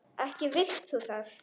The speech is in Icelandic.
Ekki vilt þú það?